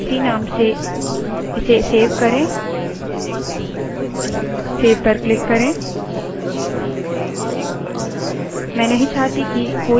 file marks txt नाम से इसे सेव करें सेव save पर क्लिक करें